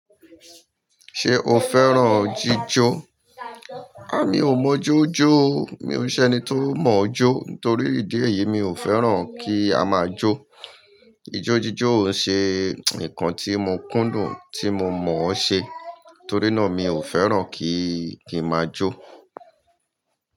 Ṣé o fẹ́ràn jíjó? A! Mi ò mọ jó jó o. Mi ò ṣe ẹni tó mọ̀ọ́ jó. Nítorí ìdí èyí, mi ò fẹ́ràn kí a máa jó. Ijójíjó ń ṣe nǹkan tí mo kúndùn tí mo mọ̀ ọ́ ṣe. Torí náà, mi ò fẹ́ràn kí kí n máa jó.